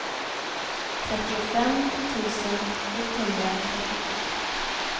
trettiofem tusen etthundratrettiosju